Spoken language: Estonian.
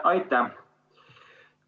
Aitäh!